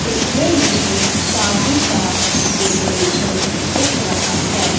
इसमें मुझे शादी का डेकोरेशन दिख रहा है।